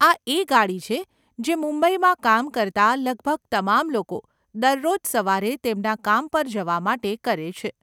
આ એ ગાડી છે, જે મુંબઈમાં કામ કરતા લગભગ તમામ લોકો દરરોજ સવારે તેમના કામ પર જવા માટે કરે છે.